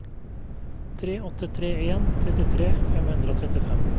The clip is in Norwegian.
tre åtte tre en trettitre fem hundre og trettifem